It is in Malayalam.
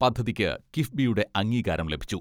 പദ്ധതിക്ക് കിഫ്ബിയുടെ അംഗീകാരം ലഭിച്ചു.